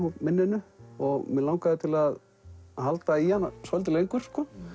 og minninu og mig langaði til að halda í hann svolítið lengur